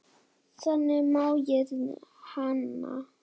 Þannig man ég hana.